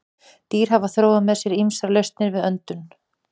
Dýr hafa þróað með sér ýmsar lausnir við öndun.